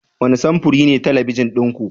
Wane samfuri ne talabijin ɗin ku?